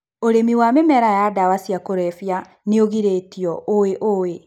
ũrĩmi wa mĩmera ya ndawa cia kũrebia nĩũgirĩtio. ũĩũĩ